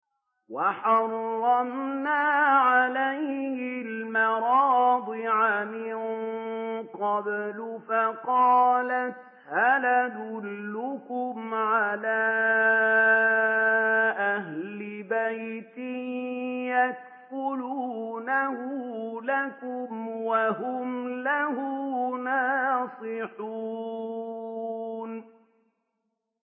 ۞ وَحَرَّمْنَا عَلَيْهِ الْمَرَاضِعَ مِن قَبْلُ فَقَالَتْ هَلْ أَدُلُّكُمْ عَلَىٰ أَهْلِ بَيْتٍ يَكْفُلُونَهُ لَكُمْ وَهُمْ لَهُ نَاصِحُونَ